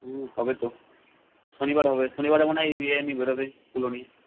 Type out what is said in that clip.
উম হবেতো শনিবার হবে শনিবারে মনে হয় নিয়ে বের হবে